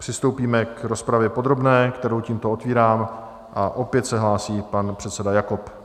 Přistoupíme k rozpravě podrobné, kterou tímto otevírám, a opět se hlásí pan předseda Jakob.